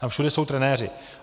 Tam všude jsou trenéři.